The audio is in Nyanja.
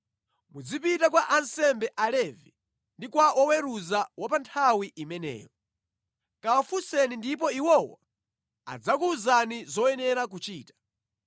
Mudzapite kwa ansembe Alevi ndi kwa woweruza wa pa nthawi imeneyo. Kawafunseni ndipo iwowo adzakuwuzani zoyenera kuchita.